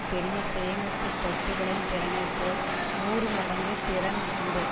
பெரிய சேமிப்பு தொட்டிகளின் திறனைப் போல் நூறு மடங்கு திறன் உண்டு